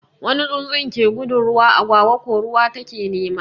Wani tsutsun ke gudun ruwa, agwagwa ko ruwa ta ke nema.